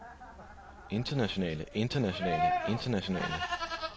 internationale internationale internationale